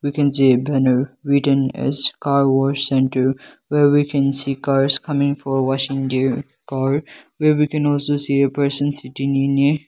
we can see a better written as car wash and do where we can see cars coming for washing their car where we can also see a person sitting in a--